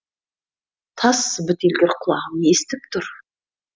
тас бітелгір құлағым естіп тұр